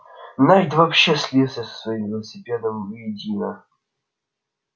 найд вообще слился со своим велосипедом воедино